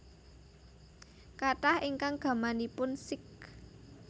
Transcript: Kathah ingkang gamanipun Sikh